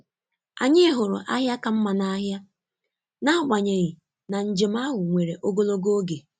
Anyị hụrụ ahịa ka mma n’ahịa, n’agbanyeghị na njem ahụ were ogologo oge.